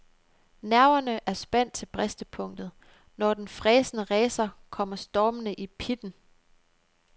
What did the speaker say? Nerverne er spændt til bristepunktet, når den fræsende racer kommer stormende i pitten.